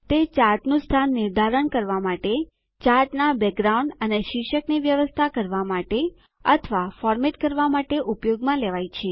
તે ચાર્ટનું સ્થાન નિર્ધારણ કરવા માટે ચાર્ટનાં બેકગ્રાઉન્ડ પુષ્ઠ્ભુમી અને શીર્ષકની વ્યવસ્થા કરવા અને ફોર્મેટ કરવા માટે ઉપયોગમાં લેવાય છે